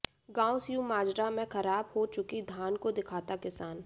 गांव स्यू माजरा में खराब हो चुकी धान को दिखाता किसान